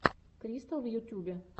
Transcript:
кристал в ютюбе